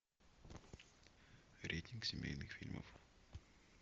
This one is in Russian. рейтинг семейных фильмов